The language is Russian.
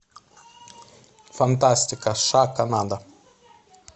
фантастика сша канада